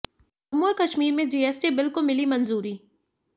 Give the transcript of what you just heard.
जम्मू और कश्मीर में GST bill को मिली मंजूरी